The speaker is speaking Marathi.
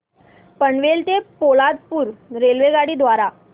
पनवेल ते पोलादपूर रेल्वेगाडी द्वारे